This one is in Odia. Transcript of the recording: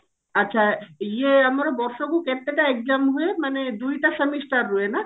ଆଛା ଇଏ ଆମର ବର୍ଷକୁ କେତେଟା exam ହୁଏ ମାନେ ଦୁଇଟା semester ହୁଏ ନା?